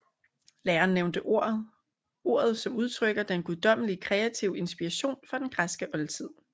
Læreren nævnte ordet som udtrykker den guddommelige kreative inspiration fra den græske oldtid